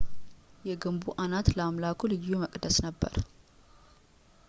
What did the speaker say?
የግንቡ አናት ለአምላኩ ልዩ መቅደስ ነበር